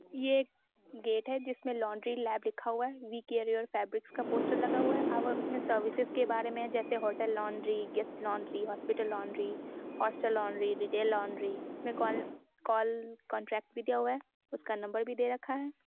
यह एक गेट है जिसमे लौंड्री लेब लिखा हुआ है वी केयर योर फेब्रिक का पोस्टर लगा हुआ है उसमे सर्विसेस के बारे में लिखा हुआ है जैसे hotel laundry guest laundry hospital laundry hostel laundry detail laundry इसमें का कॉल कॉन्ट्रैक्ट भी दिया हुआ है उसका नंबर भी दे रखा है।